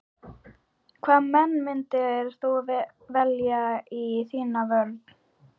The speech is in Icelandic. Hvaða menn myndir þú velja í þína vörn?